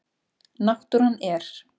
Náttúran er.